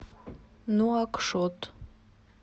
нуакшот